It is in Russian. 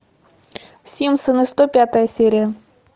симпсоны сто пятая серия